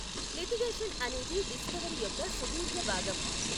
Litigation అనేది discovery యొక్క సుదీర్ఘ భాగం.